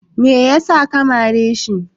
me yasa ka mare shi?